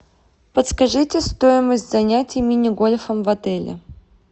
подскажите стоимость занятий мини гольфом в отеле